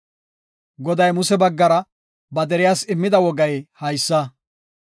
Goday Muse baggara ba deriyas immida wogay haysa;